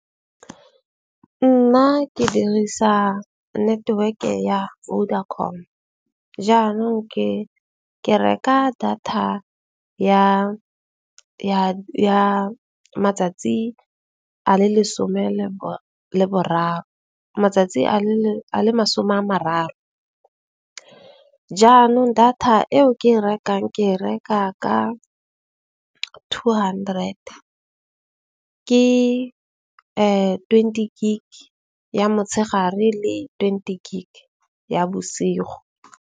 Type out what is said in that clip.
Nna ke dirisa network-e ya Vodacom. Jaanong ke reka data ya matsatsi a le lesome leboraro, matsatsi a le masome a mararo. Jaanong data eo ke rekang ke reka ka two hundred. Ke twenty gig ya motshegare le twenty gig ya bosigo.